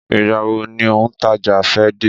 Ìgbà wo ni òun taja fe de?